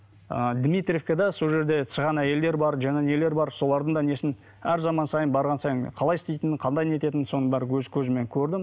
ыыы дмитривкада сол жерде сыған әйелдер бар жаңа нелер бар солардың да несін әр заман сайын барған сайын қалай істейтінін қандай не етінін соның бәрін өз көзіммен көрдім